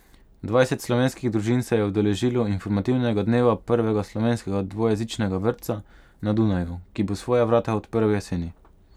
Dvajset slovenskih družin se je udeležilo informativnega dneva prvega slovenskega dvojezičnega vrtca na Dunaju, ki bo svoja vrata odprl jeseni.